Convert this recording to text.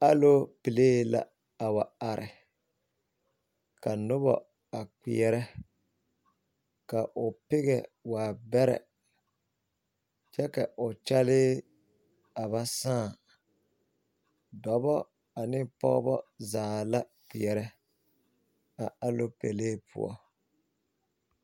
Alopelee la a wa are ka noba a kpeɛrɛ ka pɛgɛ a waa bɛrɛ kyɛ ka o kyɛlee a ba sãã dɔbɔ ane pɔgeba zaa la kpeɛrɛ a alopelee poɔ.